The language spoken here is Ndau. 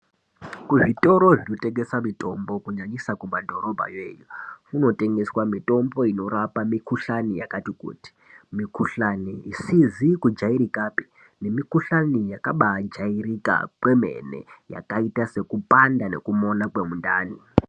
Kuzvitoro zvinotengesa mutombo, kunyanyisa kumadhorobhayo iyo, kunotengeswa mitombo inorapa mikuhlani yakati kuti, mikuhlani isizi kujairikapi nemikuhlani yakabaa jairika kwemene yakaita sekupanda nekumona kwemundani.